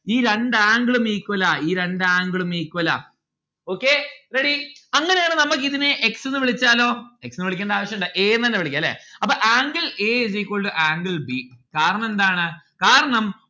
ഈ രണ്ട്‌ angle ഉം equal ആ ഈ രണ്ട്‌ angle ഉം equal ആ. ഈ രണ്ട്‌ angle ഉം equal ആ okay ready അങ്ങനെ യാണേൽ നമ്മൾക്ക് ഇതിന് x എന്ന് വിളിച്ചാലോ x എന്ന് വിളിക്കണ്ട ആവശ്യുണ്ടാ a എന്ന് തന്നെ വിളിക്കാം അല്ലെ അപ്പൊ angle a is equal to angle b കാരണം എന്താണ്? കാരണം